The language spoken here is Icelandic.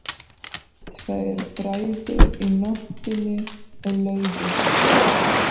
Tveir bræður í nóttinni og leiddust.